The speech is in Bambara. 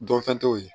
Dɔnfɛn t'o ye